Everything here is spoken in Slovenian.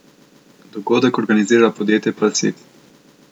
Dogodek organizira podjetje Palsit.